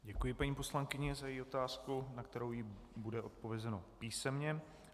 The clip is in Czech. Děkuji paní poslankyni za její otázku, na kterou jí bude odpovězeno písemně.